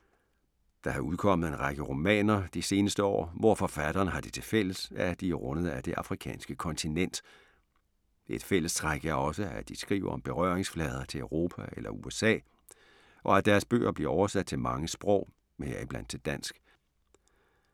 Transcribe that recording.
Der er udkommet en række romaner de seneste år, hvor forfatterne har det til fælles, at de er rundet af det afrikanske kontinent. Et fællestræk er også, at de skriver om berøringsflader til Europa eller USA, og at deres bøger bliver oversat til mange sprog, heriblandt til dansk.